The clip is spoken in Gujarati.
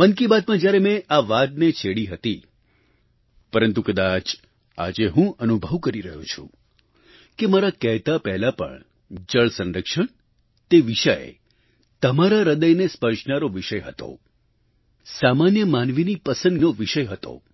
મન કી બાતમાં જ્યારે મેં આ વાતને છેડી હતી પરંતુ કદાચ આજે હું અનુભવ કરી રહ્યો છું કે મારા કહેતા પહેલા પણ જળસંરક્ષણ તે વિષય તમારા હૃદયને સ્પર્શનારો વિષય હતો સામાન્ય માનવીની પસંદનો વિષય હતો